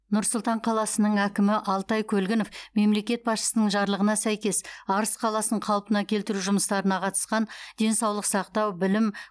нұр сұлтан қаласының әкімі алтай көлгінов мемлекет басшысының жарлығына сәйкес арыс қаласын қалпына келтіру жұмыстарына қатысқан денсаулық сақтау білім